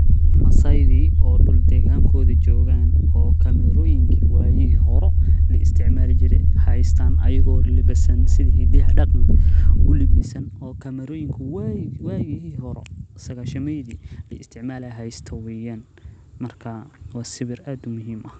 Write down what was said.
Masaydi oo dulkoodi joogan oo kameroyinka wagi hore hasyto weeyan, marka waa sawir aad muhiim u ah.